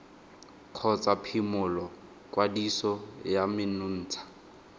kgotsa phimola kwadiso ya menontsha